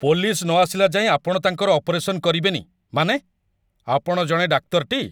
Police ନ ଆସିଲା ଯାଏଁ ଆପଣ ତାଙ୍କର ଅପରେସନ୍ କରିବେନି, ମାନେ? ଆପଣ ଜଣେ ଡାକ୍ତର ଟି?